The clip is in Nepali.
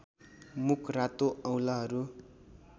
मुख रातो औंलाहरू